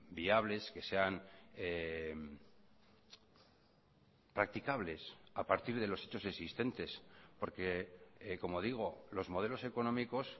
viables que sean practicables a partir de los hechos existentes porque como digo los modelos económicos